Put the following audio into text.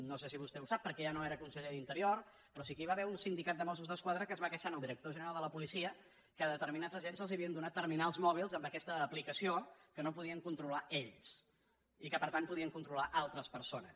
no sé si vostè ho sap perquè ja no era conseller d’interior però sí que hi va haver un sindicat de mossos d’esquadra que es va queixar al director general de la policia que a determinats agents se’ls havien donat terminals mòbils amb aquesta aplicació que no podien controlar ells i que per tant podien controlar altres persones